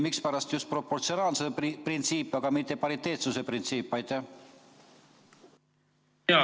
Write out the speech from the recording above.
Mispärast just proportsionaalsuse printsiip, aga mitte pariteetsuse printsiip?